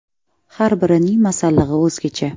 Har birining ‘masallig‘i’ o‘zgacha.